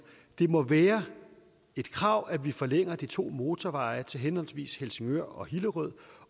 det må være et krav at vi forlænger de to motorveje til henholdsvis helsingør og hillerød